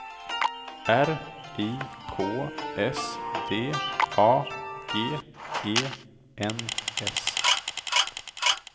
R I K S D A G E N S